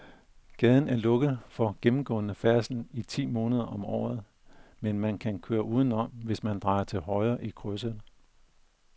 Gaden er lukket for gennemgående færdsel ti måneder om året, men man kan køre udenom, hvis man drejer til højre i krydset.